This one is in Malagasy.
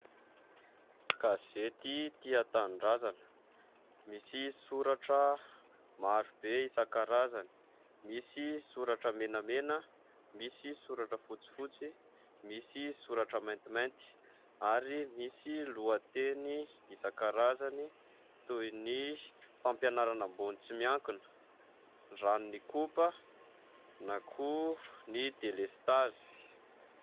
Gazety "Tia Tanindrazana" misy soratra maro be isan-karazany : misy soratra menamena, misy soratra fotsifotsy, misy soratra maintimainty ary misy lohateny isan-karazany toy ny fampianarana ambony tsy miankina, ny ranon'Ikopa, na koa ny delestazy.